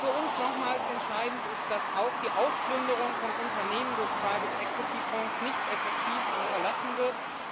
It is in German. Was für uns nochmals entscheidend ist, ist dass auch die Ausplünderung von Unternehmen durch Private Equity Fonds nicht effektiv unterlassen wird.